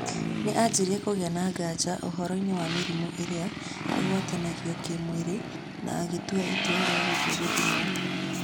Nĩ anjirie kũgĩa na nganja ũhoroinĩ wa mĩrĩmu ĩrĩa ĩgwatanagĩo kimwĩrĩ na agĩtua itua rĩa gũthiĩ gũthimwo